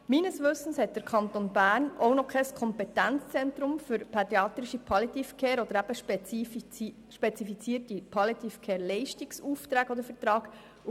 Gemäss meinem Wissen hat der Kanton Bern auch noch kein Kompetenzzentrum für pädiatrische Palliative Care oder für spezifizierte Palliative-Care-Leistungsaufträge oder -verträge.